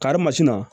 Karimasina